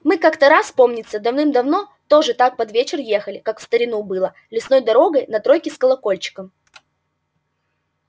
мы как-то раз помнится давным-давно тоже так под вечер ехали как в старину было лесной дорогой на тройке с колокольчиком